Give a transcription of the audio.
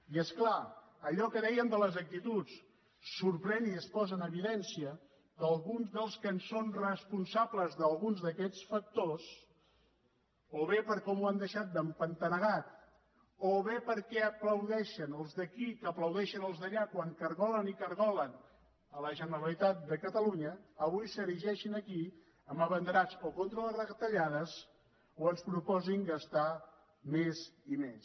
i és clar allò que dèiem de les actituds sorprèn i es posa en evidència que alguns dels que són responsables d’alguns d’aquests factors o bé per com ho han deixat d’empantanegat o bé perquè aplaudeixen els d’aquí que aplaudeixen els d’allà quan cargolen i cargolen la generalitat de catalunya avui s’erigeixin aquí en abanderats contra de les retallades o ens proposin gastar més i més